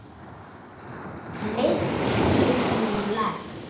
Liðkið nú legg!